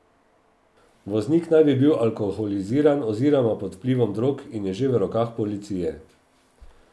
Voznik naj bi bil alkoholiziran oziroma pod vplivom drog in je že v rokah policije.